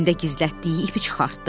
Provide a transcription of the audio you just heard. O cibində gizlətdiyi ipi çıxartdı.